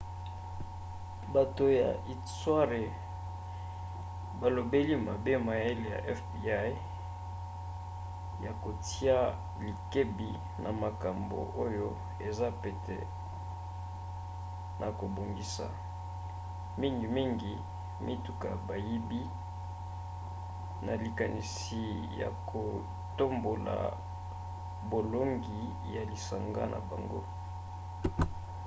bato ya istware balobeli mabe mayele ya fbi ya kotia likebi na makambo oyo eza pete na kobongisa mingimingi mituka bayibi na likanisi ya kotombola bolongi ya lisanga na bango